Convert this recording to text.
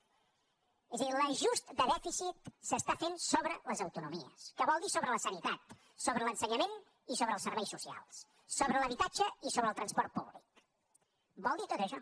és a dir l’ajust de dèficit s’està fent sobre les autonomies que vol dir sobre la sanitat sobre l’ensenyament i sobre els serveis socials sobre l’habitatge i sobre el transport públic vol dir tot això